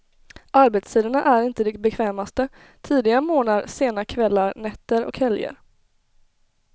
Arbetstiderna är inte de bekvämaste, tidiga morgnar, sena kvällar, nätter och helger.